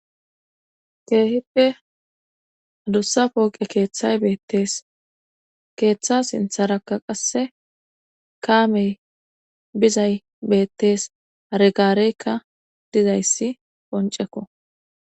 keehippe hadussa pooqe keeththay beettees keeththa sintharakka qasse kaamey bizay beettees aregaareykka dizayssi qoncekko